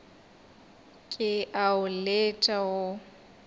ke a o letša wo